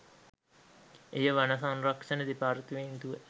එය වන සංරක්ෂණ දෙපාර්තමේන්තුව